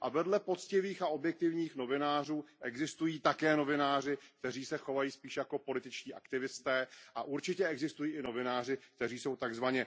A vedle poctivých a objektivních novinářů existují také novináři, kteří se chovají spíše jako političtí aktivisté, a určitě existují i novináři, kteří jsou tzv.